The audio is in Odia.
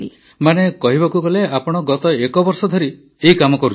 ମାନେ କହିବାକୁ ଗଲେ ଆପଣ ଗତ ଏକବର୍ଷ ଧରି ଏହି କାମ କରୁଛନ୍ତି